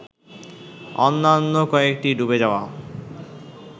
অন্যান্য কয়েকটি ডুবে যাওয়া